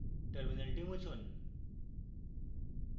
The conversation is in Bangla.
terminal মুছুন